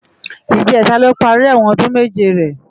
Ijètá ló pàri èwòn òdún méjé rè